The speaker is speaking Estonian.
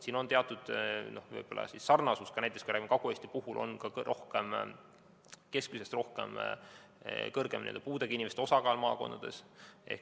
Siin on teatud sarnasus võib-olla ka sellega, et Kagu-Eestis on suurem puudega inimeste osakaal kui teistes maakondades.